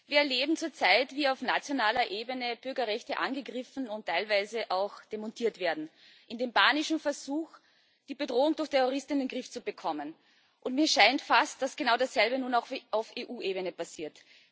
Wir erleben zurzeit, wie auf nationaler Ebene Bürgerrechte angegriffen und teilweise auch demontiert werden, in dem panischen Versuch, die Bedrohung durch Terroristen in den Griff zu bekommen. Mir scheint fast, dass genau dasselbe nun auch auf EU Ebene passiert.